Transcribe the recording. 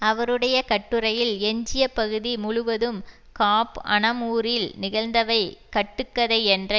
அவருடைய கட்டுரையில் எஞ்சிய பகுதி முழுவதும் காப் அனமுரில் நிகழ்ந்தவை கட்டுக்கதை என்ற